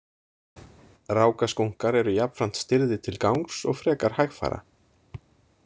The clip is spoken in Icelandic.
Rákaskunkar eru jafnframt stirðir til gangs og frekar hægfara.